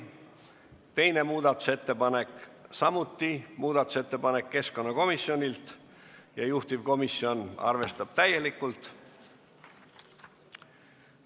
Teine muudatusettepanek, samuti keskkonnakomisjonilt ja juhtivkomisjon arvestab täielikult.